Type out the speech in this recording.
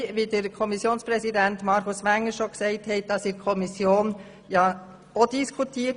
Wie vom Kommissionspräsidenten Markus Wenger bereits ausgeführt, haben wir auch in der Kommission darüber diskutiert.